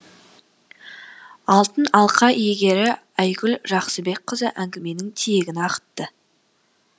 алтын алқа иегері айгүл жақсыбекқызы әңгіменің тиегін ағытты